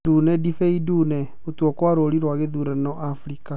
Ndune, ndibei ndune; Gũtua kwa rũũri rwa gĩthurano Afrika.